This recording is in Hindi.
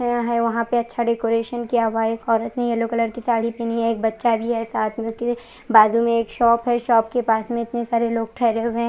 यह है वहां पर छड़ी कोईनशन किया हुआ है वहां पर एक ओरत ने येल्लो कलर की साड़ी पहनी हुई है एक बच्चा भी है साथ में बाजू में एक शॉप है शॉप के पास में इतने सारे लोग ठहरे हुए है।